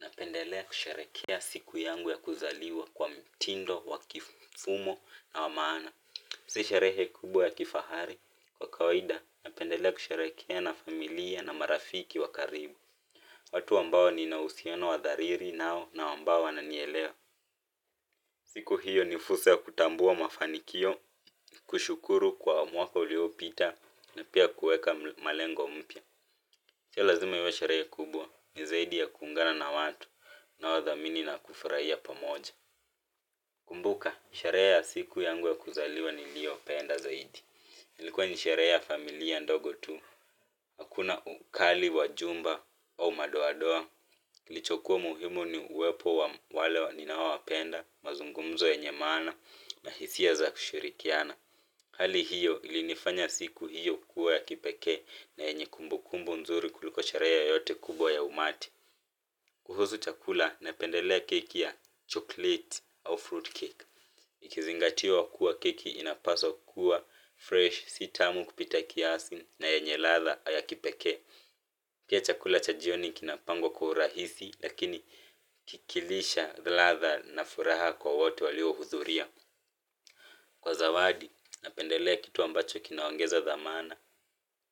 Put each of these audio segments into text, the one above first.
Napendelea kusharehekea siku yangu ya kuzaliwa kwa mtindo, wa kifumo na wa maana. Si sherehe kubwa ya kifahari kwa kawaida napendelea kusharehekea na familia na marafiki wa karibu, watu ambao nina uhusiano wa dhariri nao na ambao wananielewa siku hiyo ni fursa ya kutambua mafanikio kushukuru kwa mwaka uliopita na pia kuweka malengo mpya sio lazima iwe sherehe kubwa ni zaidi ya kuungana na watu wanaodhamini na kufurahia pamoja. Kumbuka, sharehe ya siku yangu ya kuzaliwa niliyopenda zaidi. Ilikuwa ni sherehe ya familia ndogo tu hakuna ukali wa jumba au madoa doa. Kilichokuwa muhimu ni uwepo wa wale wa ninao wapenda, mazungumzo yenye maana na hisia za kushirikiana. Hali hiyo ilinifanya siku hiyo kuwa ya kipekee na yenye kumbukumbu nzuri kuliko sharehe yoyote kubwa ya umati. Kuhusu chakula napendelea keki ya chocolate au fruitcake. Ikizingatiwa kuwa keki inapaswa kuwa fresh si tamu kupita kiasi na yenye ladha ya kipekee pia chakula cha jioni kinapangwa kwa urahisi lakini kikilisha the ladha na furaha kwa wote waliohudhuria kwa zawadi, napendelea kitu ambacho kinaongeza dhamana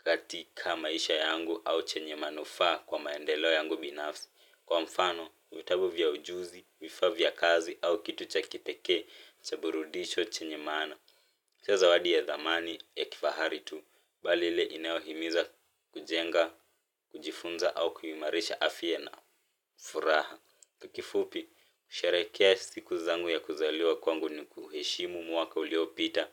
katika maisha yangu au chenye manufaa kwa maendeleo yangu binafsi. Kwa mfano, vitabu vya ujuzi, vifaa vya kazi au kitu cha kipekee cha burudisho chenye maana. Sio zawadi ya dhamani ya kifahari tu, mbali ile inaohimiza kujenga, kujifunza au kuimarisha afya na furaha. Kwa kifupi, kusharehekea siku zangu ya kuzaliwa kwangu ni kuheshimu mwaka uliyopita,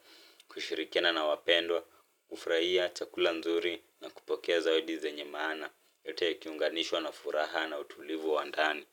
kushirikiana na wapendwa, kufurahia, chakula nzuri na kupokea zawadi zenye maana, yote yakiunganishwa na furaha na utulivu wa ndani.